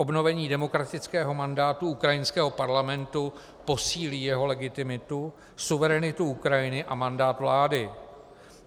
Obnovení demokratického mandátu ukrajinského parlamentu posílí jeho legitimitu, suverenitu Ukrajiny a mandát vlády.